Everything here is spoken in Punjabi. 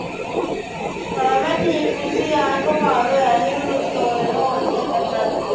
ਹਾਂ ਮੈ ਠੀਕ ਨਹੀਂ ਸੀ ਬੁਖਾਰ ਯਾਰ ਹੋਇਆ ਸੀ ਦੋ ਦਿਨ ਹੋਰ ਨਹੀਂ ਆਇਆ ਜਾਣਾ school